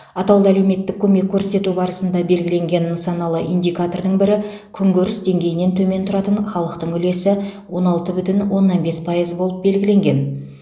атаулы әлеуметтік көмек көрсету барысында белгіленген нысаналы индикатордың бірі күнкөріс деңгейінен төмен тұратын халықтың үлесі он алты бүтін оннан бес пайыз болып белгіленген